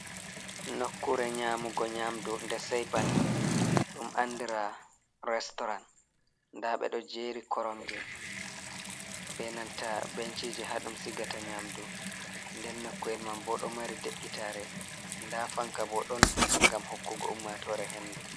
Nokkure nyamugo nyamdu nde sei bana, ɗum andira restorant, nda ɓe ɗo jeri koromje be nanta benchije ha ɗum sigata nyamdu, nden nokku'el mam bo ɗo mari de'itare, nda fanka bo ɗon gam hokkugo ummatore hendu.